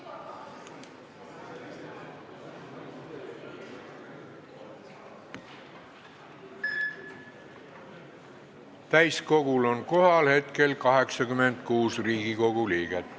Kohaloleku kontroll Täiskogul on hetkel kohal 86 Riigikogu liiget.